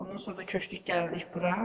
Ondan sonra köçdük gəldik bura.